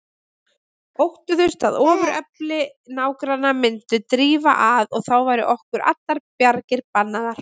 Óttuðust að ofurefli nágranna myndi drífa að og að þá væru okkur allar bjargir bannaðar.